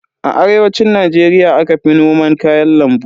A arewacin Najeriya aka fi noman kayan lambu.